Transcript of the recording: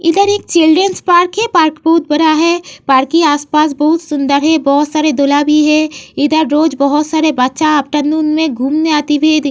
इधर एक children's park हैं। पार्क बहोत बड़ा है। पार्क के आस-पास बहोत सुंदर है। बहोत सारे दूल्हा भी हैं। इधर रोज बहोत सारे बच्चा आफ्टरनून में घूमने आते हुऐ दिख --